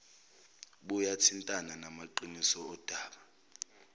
buyathintana namaqiniso odaba